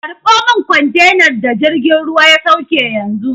Karɓo min kwantenar da jirgin ruwan ya sauke yanzu!